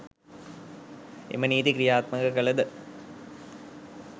එම නීති ක්‍රියාත්මක කළ ද